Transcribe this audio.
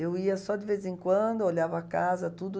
Eu ia só de vez em quando, olhava a casa, tudo.